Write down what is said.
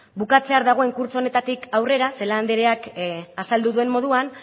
bukatzear dagoen kurtso honetatik aurrera celaá andreak azaldu duen moduan